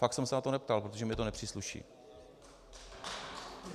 Fakt jsem se na to neptal, protože mi to nepřísluší.